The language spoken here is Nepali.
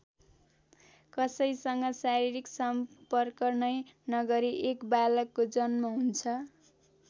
कसैसँग शारीरिक सम्पर्क नै नगरी एक बालकको जन्म हुन्छ।